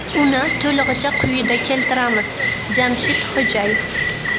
Uni to‘lig‘icha quyida keltiramiz: Jamshid Xo‘jayev.